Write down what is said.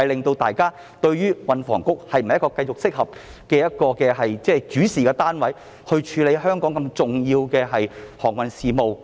大家不禁質疑，運房局是否適合繼續作為主事單位或政策局，處理對香港如此重要的航運事務。